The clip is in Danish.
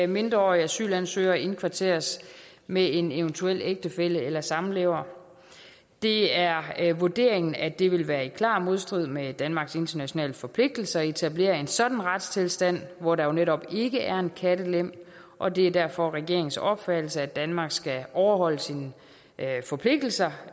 mindreårige asylansøgere indkvarteres med en eventuel ægtefælle eller samlever det er vurderingen at det vil være i klar modstrid med danmarks internationale forpligtelser at etablere en sådan retstilstand hvor der netop ikke er en kattelem og det er derfor regeringens opfattelse at danmark skal overholde sine forpligtelser